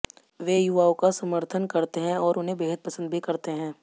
वे युवाओं का समर्थन करते हैं और उन्हें बेहद पसंद भी करते हैं